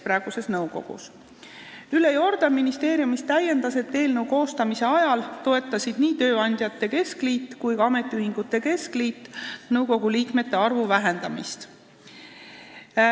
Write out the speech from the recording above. Ülle Jordan ministeeriumist täiendas, et eelnõu koostamise ajal toetasid nii tööandjate keskliit kui ka ametiühingute keskliit nõukogu liikmete arvu vähendamist.